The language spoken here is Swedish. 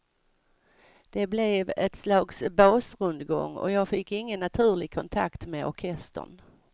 Det blev ett slags basrundgång och jag fick ingen naturlig kontakt med orkestern.